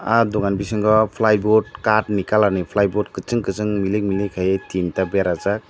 ahh dugan bisingo ply boat caat ni kalar ni ply boat kuchung kuchung milig milig kaie tinta berajaak.